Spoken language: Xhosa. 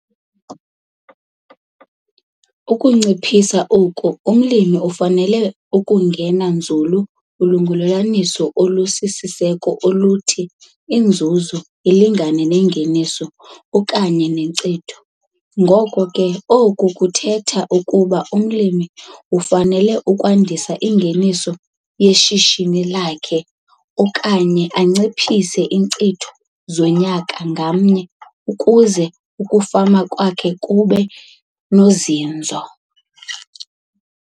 Ukunciphisa oku umlimi ufanele ukungena nzulu kulungelelwaniso olusisiseko oluth, i Inzuzo ilingane nengeniso okanye nenkcitho. Ngoko ke, oku kuthetha ukuba umlimi ufanele ukwandisa ingeniso yeshishini lakhe kunye, okanye anciphise iinkcitho zonyaka ngamnye ukuze ukufama kwakhe kube nozinzo.